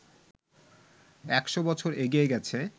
একশ বছর এগিয়ে গেছে